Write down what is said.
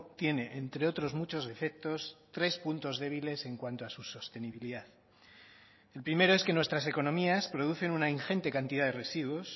tiene entre otros muchos defectos tres puntos débiles en cuanto a su sostenibilidad el primero es que nuestras economías producen una ingente cantidad de residuos